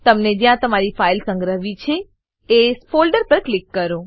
તમને જ્યાં તમારી ફાઈલને સંગ્રહવી છે એ ફોલ્ડર પર ક્લિક કરો